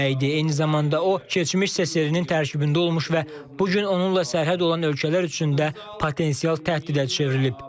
Eyni zamanda o, keçmiş SSRİ-nin tərkibində olmuş və bu gün onunla sərhəd olan ölkələr üçün də potensial təhdidə çevrilib.